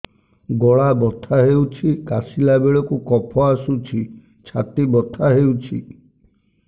ଗଳା ବଥା ହେଊଛି କାଶିଲା ବେଳକୁ କଫ ଆସୁଛି ଛାତି ବଥା ହେଉଛି